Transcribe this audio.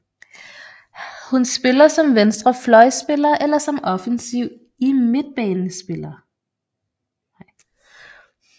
Hun spiller som venstre fløjspiller eller som offensiv midtbanespiller